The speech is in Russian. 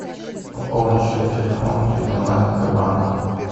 пополнить счет телефона через онлайн сбербанк